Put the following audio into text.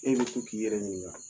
E bɛ to k'i yɛrɛ ɲininga.